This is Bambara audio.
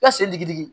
I ka sen digi digi